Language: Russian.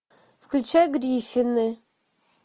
включай гриффины